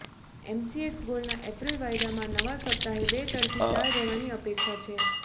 MCX ગોલ્ડના April વાયદામાં નવા સપ્તાહે બે તરફી ચાલ રહેવાની અપેક્ષા છે